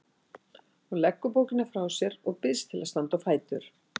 Hún leggur bókina frá sér og býst til að standa á fætur.